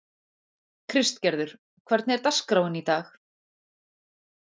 Kristgerður, hvernig er dagskráin í dag?